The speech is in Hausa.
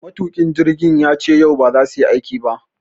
Matuƙin jirgin yace yau ba za suyi aiki ba.